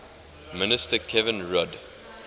minister kevin rudd